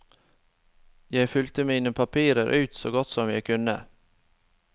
Jeg fylte mine papirer ut så godt som jeg kunne.